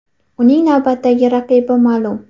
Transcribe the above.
Uning navbatdagi raqibi ma’lum.